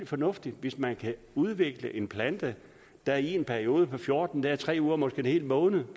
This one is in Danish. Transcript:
fornuftigt hvis man kan udvikle en plante der i en periode på fjorten dage eller tre uger måske en hel måned